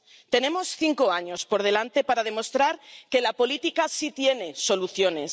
Tenemos cinco años por delante para demostrar que la política sí tiene soluciones.